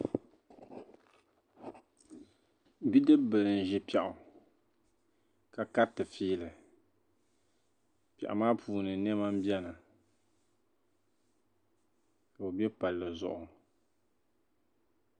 Bidibil n ʒi pɛɣu, ka kariti fiili pɛɣu maa puuni nema n beni ka ɔ be palli zuɣu